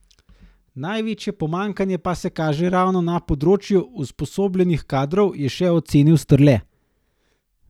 Največje pomanjkanje pa se kaže ravno na področju usposobljenih kadrov, je še ocenil Strle.